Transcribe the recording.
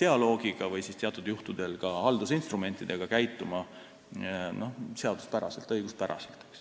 dialoogiga või siis teatud juhtudel ka haldusinstrumentidega käituma seaduspäraselt, õiguspäraselt.